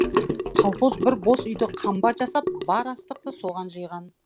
колхоз бір бос үйді қамба жасап бар астықты соған жиған